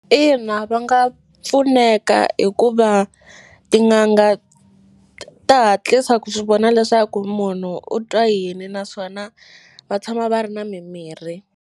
Ina, va nga pfuneka hikuva tin'anga ta hatlisa ku swi vona leswaku munhu u twa yini naswona va tshama va ri na mimirhi.